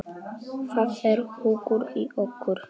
Það er hugur í okkur.